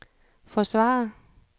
forsvarer